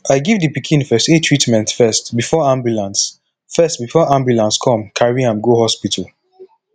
i give the pikin first aid treatment first before ambulance first before ambulance come carry am go hospital